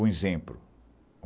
Um exemplo.